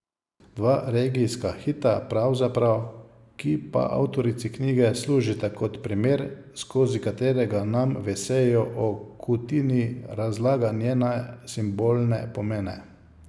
Dva regijska hita pravzaprav, ki pa avtorici knjige služita kot primer, skozi katerega nam v eseju o Kutini, razlaga njene simbolne pomene.